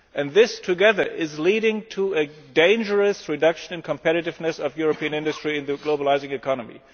These together are leading to a dangerous reduction in the competitiveness of European industry in the globalising economy.